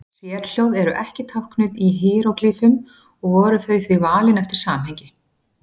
Sérhljóð eru ekki táknuð í híeróglýfum og voru þau því valin eftir samhengi.